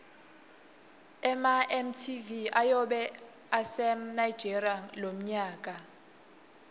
ema mtv ayobe ase nigeria lomnyaka